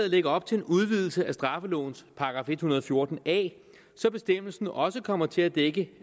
lægger op til en udvidelse af straffelovens § en hundrede og fjorten a så bestemmelsen også kommer til at dække